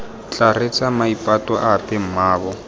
tla reetsa maipato ape mmaabo